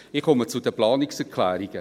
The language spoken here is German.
Ich komme zu den Planungserklärungen: